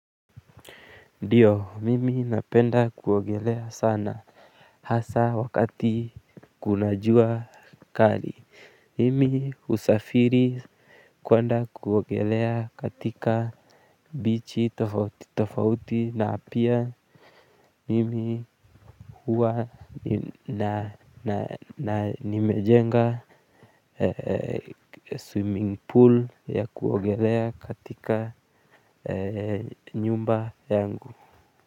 Ndio mimi napenda kuogelea sana hasa wakati kuna jua kali. Mimi husafiri kuanda kuogelea katika bichi tofauti tofauti na pia mimi huwa na nimejenga swimming pool ya kuwagelea katika nyumba yangu.